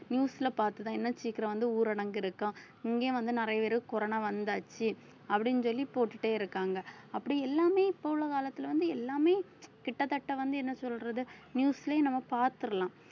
news ல பார்த்துதான் இன்னும் சீக்கிரம் வந்து ஊரடங்கு இருக்காம் இங்கேயும் வந்து நிறைய பேரு corona வந்தாச்சு அப்படின்னு சொல்லி போட்டுட்டே இருக்காங்க அப்படி எல்லாமே இப்ப உள்ள காலத்துல வந்து எல்லாமே கிட்டத்தட்ட வந்து என்ன சொல்றது news லயே நம்ம பார்த்திடலாம்